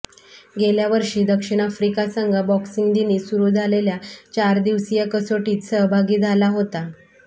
गेल्यावर्षी दक्षिण आफ्रिका संघ बॉक्सिंग दिनी सुरू झालेल्या चारदिवसीय कसोटीत सहभागी झाला होता